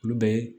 Olu bɛɛ